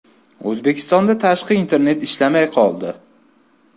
O‘zbekistonda tashqi internet ishlamay qoldi.